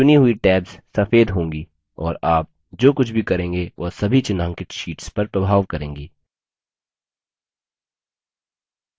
चुनी हुई tabs सफ़ेद होंगी और आप जो कुछ भी करेंगे वह सभी चिन्हांकित शीट्स पर प्रभाव करेंगी